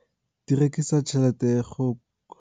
Di rekisa tšhelete ka go